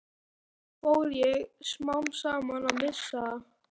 Svo fór ég smám saman að missa það.